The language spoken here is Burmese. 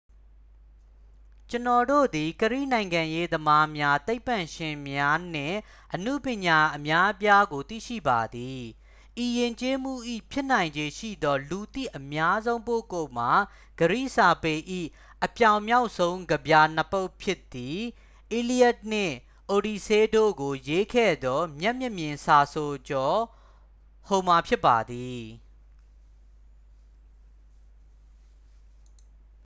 ကျွန်ုပ်တို့သည် ဂရိနိုင်ငံရေးသမားများ သိပ္ပံပညာရှင်များ နှင့် အနုပညာရှင်အများအပြားကို သိရှိပါသည် ဤယဉ်ကျေးမှု၏ ဖြစ်နိုင်ခြေရှိသော လူသိအများဆုံးပုဂ္ဂိုလ်မှာ ဂရိစာပေ၏ အပြောင်မြောက်ဆုံးကဗျာနှစ် ပုဒ်ဖြစ်သည့် iliad နှင့် odyssey တို့ကိုရေးစပ်ခဲ့သော မျက်မမြင်စာဆိုကျော် homer ဖြစ်ပါသည်